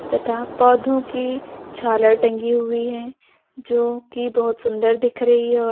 तथा पौधों की झालर टंगी हुई है जोकि बहोत सुंदर दिख रही है और--